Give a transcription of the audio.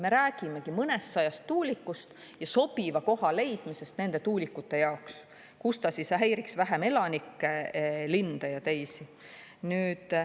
Me räägimegi mõnestsajast tuulikust ja sobiva koha leidmisest nende tuulikute jaoks, kus nad häiriks vähem elanikke, linde ja teisi.